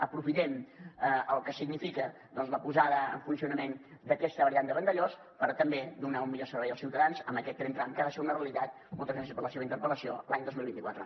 aprofitem el que significa la posada en funcionament d’aquesta variant de vandellòs per també donar un millor servei als ciutadans amb aquest tren tram que ha de ser una realitat moltes gràcies per la seva interpel·lació l’any dos mil vint quatre